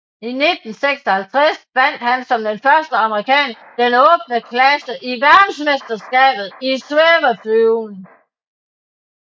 I 1956 vandt han som den første amerikaner den åbne klasse i verdensmesterskabet i svæveflyvning